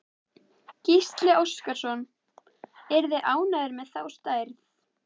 Gísli Óskarsson: Eruð þið ánægðir með þá stærð?